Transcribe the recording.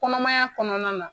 Kɔnɔmaya kɔnɔna na